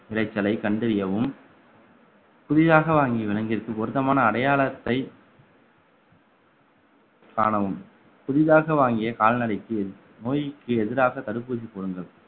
விளைச்சலை கண்டறியவும் புதிதாக வாங்கி விளங்கியதற்கு பொருத்தமான அடையாளத்தை காணவும் புதிதாக வாங்கிய கால்நடைக்கு நோய்க்கு எதிராக தடுப்பூசி போடுங்கள்